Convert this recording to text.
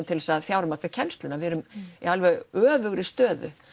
til að fjármagna kennsluna við erum í alveg öfugri stöðu